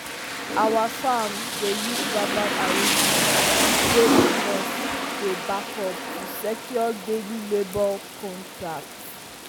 our farm dey use verbal agreement wey witnesses dey back up to secure daily labour contracts.